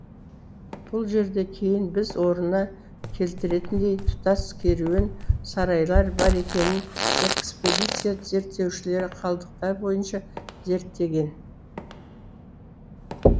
бұл жерде кейін біз орнына келтіретіндей тұтас керуен сарайлар бар екенін экспедиция зерттеушілері қалдықтар бойынша зерттеген